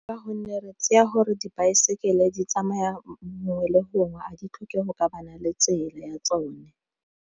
Ka gonne re tseya gore dibaesekele di tsamaya gongwe le gongwe a di tlhokego ka le tsela ya tsone.